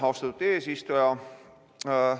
Austatud eesistuja!